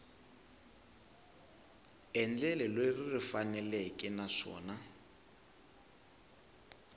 endlelo leri ri faneleke naswona